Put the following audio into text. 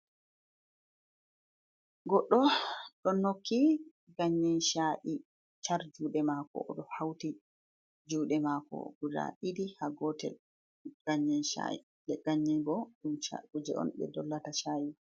Goɗɗo ɗo nokki ganyensha’i char jude mako, oɗo hauti juɗe mako guda ɗiɗi ha gotel, ganyen sha'ibo ɗum kuje on ɓe dollata sha'i.